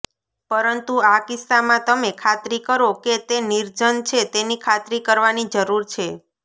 પરંતુ આ કિસ્સામાં તમે ખાતરી કરો કે તે નિર્જન છે તેની ખાતરી કરવાની જરૂર છે